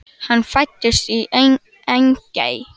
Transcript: Hann fæddist í Engey.